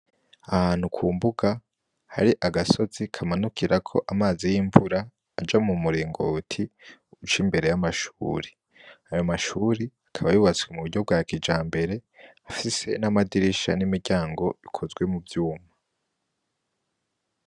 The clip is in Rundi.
Ahantu ku mbuga, hari agasozi kamanukirako amazi y'imvura aja mu muringoti uca imbere y'amashure. Ayo mashure akaba yubatswe mu buryo bwa kijambere, afise n'amadirisha n'imiryango ikozwe mu vyuma.